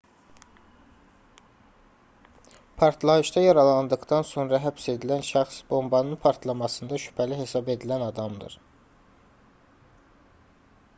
partlayışda yaralandıqdan sonra həbs edilən şəxs bombanın partlamasında şübhəli hesab edilən adamdır